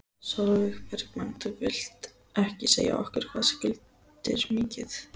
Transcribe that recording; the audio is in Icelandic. Sólveig Bergmann: Þú vilt ekki segja okkur hvað skuldir mikið?